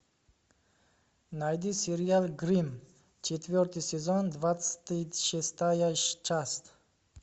найди сериал гримм четвертый сезон двадцать шестая часть